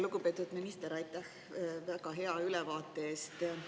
Lugupeetud minister, aitäh väga hea ülevaate eest!